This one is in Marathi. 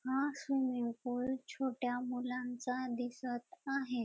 हा स्विमिंग पूल छोट्या मुलांचा दिसत आहे.